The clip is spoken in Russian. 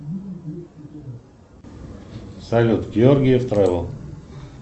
салют георгиев тревел